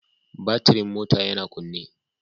Batirin mota yana kunne